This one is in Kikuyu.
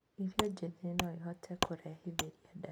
Irio njĩthĩ noĩhote kũrehithĩria ndaa